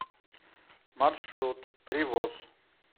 маршрут привоз